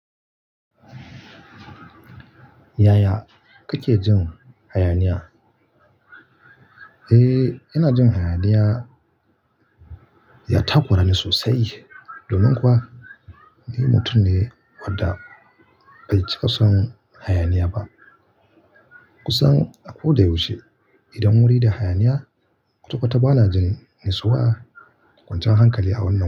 Yaya kake jin hayaniya? Eh, ina jin hayaniya ya takora ni sosai, domin kuwa ni mutum ne wadda bai cika son hayaniya ba. Kusan a ko da yaushe idan wuri da hayaniya, kwatakwata bana jin natsuwa, kwanciyan hankali a wannan.